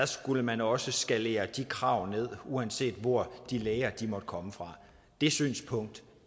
skulle man også skalere de krav ned uanset hvor de læger måtte komme fra det synspunkt